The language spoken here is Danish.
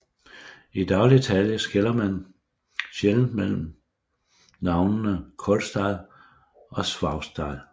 I daglig tale skiller man sjældent mellem navnene Kolstad og Saupstad